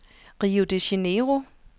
Rio de Janeiro